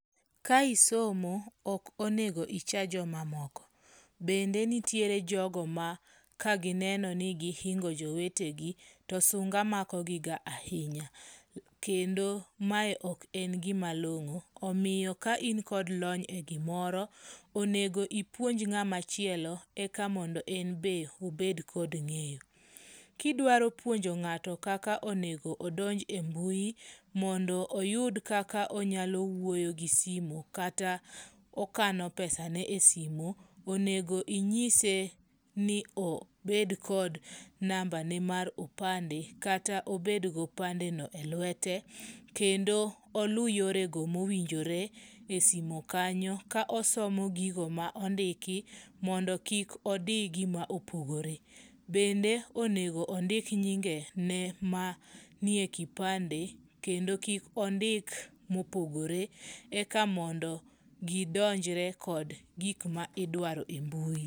Ka isomo, ok onego icha joma moko. Bende nitiere jogo ma kagineno ni gihingo jowetegi, to sunga makogiga ahinya. Kendo mae ok en gima long'o. Omiyo ka in kod lony e gimoro, onego ipuonj ng'amachielo, eka mondo en be obed kod ng'eyo. Kidwaro puonjo ng'ato kaka onego odonj e mbui, mondo oyud kaka onyalo wuoyo gi simu kata okano pesane e simu. Onego inyise ni obed kod nambane mar opande, kata obed gopandemo elwete. Kendo olu yorego mowinjore e simu kanyo. Ka osomo gigo ma ondiki mondo kik idi gima opogore. Bende onego ondik nyingene mantie e kipande kendo kik ondik mopogore. Eka mondo gidonjre kod gik ma idwaro